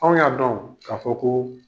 An y'a dɔn k'a fɔ ko